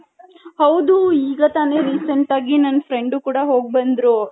ಹೌದು ಈಗ ತಾನೆ recent ಆಗಿ ನನ್ friend ಕೂಡ ಹೋಗ್ ಬಂದ್ರು.